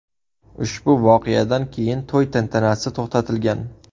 Ushbu voqeadan keyin to‘y tantanasi to‘xtatilgan.